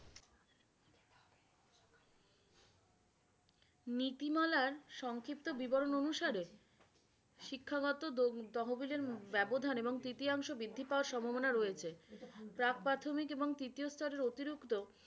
নীতিমালার সংক্ষিপ্ত বিবরন অনুসারে, শিক্ষাগত তহবিলের ব্যবধান এবং তৃতীয়াংশ বৃদ্ধি পাওয়ার সম্ভাবনা রয়েছে। অতিরিক্ত